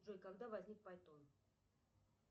джой когда возник пайтон